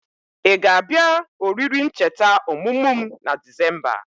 I ga abia oriri ncheta omumu m na Disemba?